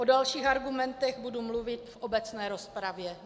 O dalších argumentech budu mluvit v obecné rozpravě.